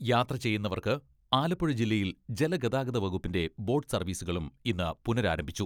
യാത്ര ചെയ്യുന്നവർക്ക് ആലപ്പുഴ ജില്ലയിൽ ജലഗതാഗത വകുപ്പിന്റെ ബോട്ട് സർവ്വീസുകളും ഇന്ന് പുനരാരംഭിച്ചു.